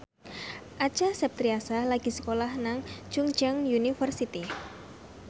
Acha Septriasa lagi sekolah nang Chungceong University